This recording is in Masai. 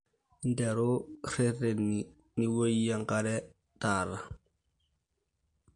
interu reteni niowouyie enkare taata